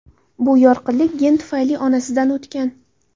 Bu yorqinlik gen tufayli onasidan o‘tgan.